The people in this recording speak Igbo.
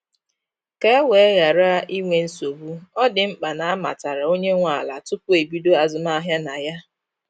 Ka e wee ghara inwe nsogbu, ọ dị mkpa na amatara onye nwe ala tupu ebido azụmahịa na ya.